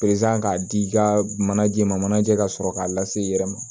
k'a di i ka manajɛma manajɛ ka sɔrɔ k'a lase i yɛrɛ ma